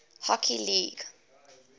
hockey league nhl